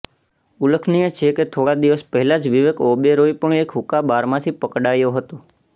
ઉલ્લેખનીય છે કે થોડા દિવસ પહેલા જ વિવેક ઓબેરોય પણ એક હુક્કાબારમાંથી પકડાયો હતો